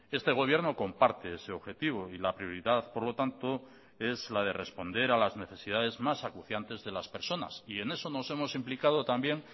este gobierno comparte ese objetivo y la prioridad por lo tanto es la de responder a las necesidades más acuciantes de las personas y en eso nos hemos implicado también